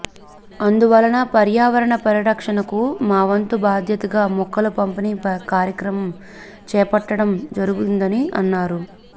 అందువలన పర్యావరణ పరిరక్షణకు మావంతు బాధ్యతగా మొక్కల పంపిణీ కార్యక్రమం చేపట్టడం జరిగిందని అన్నారు